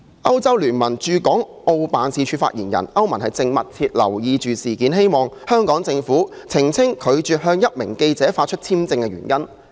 歐洲聯盟駐港澳辦事處發言人表示，歐盟正密切留意事件，希望香港政府澄清拒絕向一名記者發出簽證的原因。